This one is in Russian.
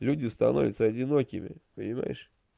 люди становятся одинокими понимаешь